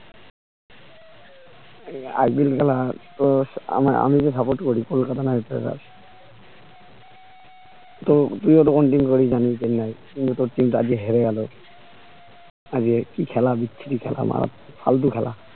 IPL খেলা তো আমি তো support করি কলকাতা নাইট ট্রাইডার্স তো তুই ও তো কোন team করি জানি চেন্নাই কিন্তু তোর team টা আজকে হেরে গেলো আজকে কি খেলা বিচ্ছিরি খেলা মানে ফালতু খেলা